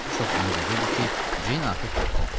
Çox ümid edirdi ki, Ceyn artıq kənddədir.